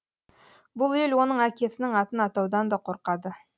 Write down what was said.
бұл ел оның әкесінің атын атаудан да қорқады